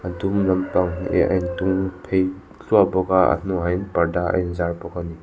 a dum lampang leh a intung phei thluah bawk a a hnungah hian parda a in zar bawk ani.